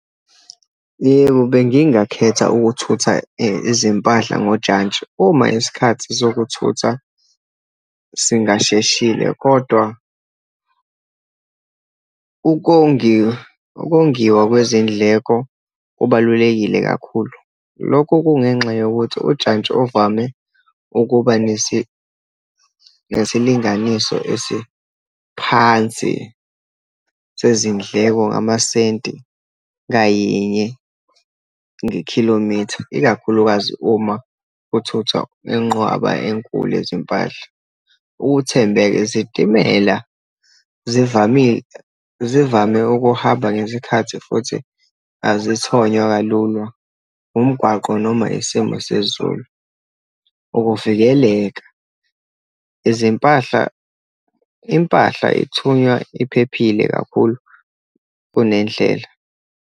Yebo, bengingakukhetha ukuthutha izimpahla ngojantshi uma isikhathi sokuthutha singasheshile kodwa ukongiwa kwezindleko kubalulekile kakhulu. Lokho kungenxa yokuthi ujantshi ovame ukuba nesilinganiso esiphansi sezindleko ngamasenti ngayinye, nge-kilometer, ikakhulukazi uma kuthuthwa ingqwaba enkulu yezimpahla. Ukuthembeka, izitimela zivame ukuhamba ngezikhathi futhi azithonywa kalulwa umgwaqo, noma isimo sezulu. Ukuvikeleka, izimpahla, impahla ithunya iphephile kakhulu kunendlela.